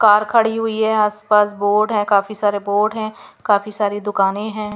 Car खड़ी हुई है आसपास बोर्ड है काफी सारे बोर्ड हैं काफी सारी दुकानें हैं.